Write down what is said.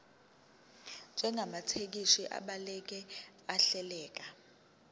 njengamathekisthi abhaleke ahleleka